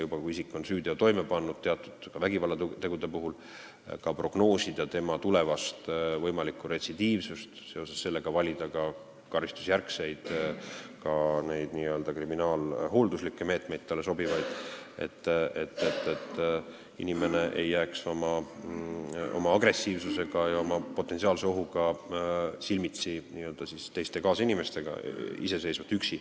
Kui isik on süüteo toime pannud, ka teatud vägivallateo, siis tuleks prognoosida tema tulevast võimalikku retsidiivsust ja sellest lähtudes valida talle sobivaid karistusjärgseid kriminaalhoolduslikke meetmeid, et ta ei jääks oma agressiivsusega ja enda tekitatava potentsiaalse ohuga üksinda kaasinimestega silmitsi.